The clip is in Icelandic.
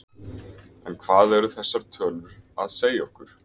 En hvað eru þessar tölu að segja okkur?